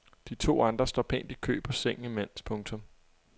De to andre står pænt i kø på sengen imens. punktum